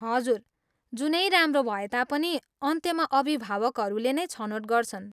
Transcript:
हजुर, जुनै राम्रो भए तापनि, अन्त्यमा अभिभावकहरूले नै छनोट गर्छन्।